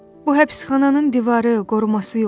Bu həbsxananın divarı, qoruması yox idi.